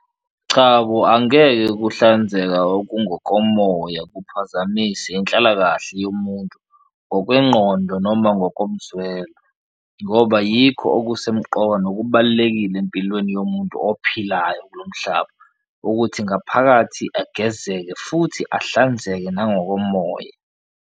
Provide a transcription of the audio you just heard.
Cha bo, angeke ukuhlanzeka okungokomoya kuphazamise inhlalakahle yomuntu ngokwengqondo noma ngokomzwelo ngoba yikho okusemqoka nokubalulekile empilweni yomuntu ophilayo kulo mhlaba, ukuthi ngaphakathi agezeke futhi ahlanzeke nangokomoya.